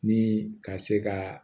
Ni ka se ka